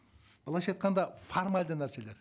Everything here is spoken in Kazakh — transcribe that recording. былайша айтқанда формальді нәрселер